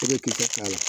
E bɛ kɛ k'a la